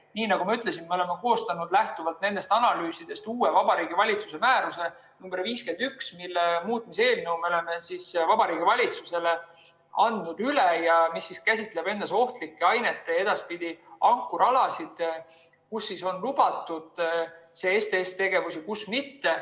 Nii nagu ma ütlesin, me oleme koostanud lähtuvalt nendest analüüsidest uue Vabariigi Valitsuse määruse nr 51, mille eelnõu me oleme Vabariigi Valitsusele üle andnud ja mis käsitleb ohtlikke aineid ja ankrualasid, kus on lubatud STS‑tegevus ja kus mitte.